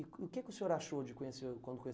E o que que o senhor achou de conhecer quando